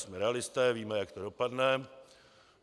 Jsme realisté, víme, jak to dopadne.